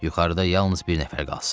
Yuxarıda yalnız bir nəfər qalsın.